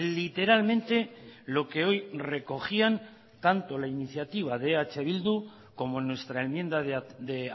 literalmente lo que hoy recogían tanto la iniciativa de eh bildu como nuestra enmienda de